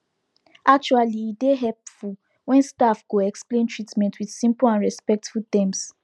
actually e dey hepful wen staf go explain treatment with simple and respectful terms